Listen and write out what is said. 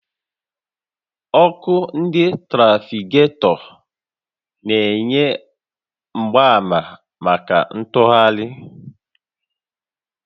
Ọkụ ndị trafiketọ na-enye mgbaàmà màkà ntụgharị